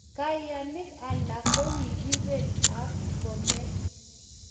Kayanik alak kokikubel ab kome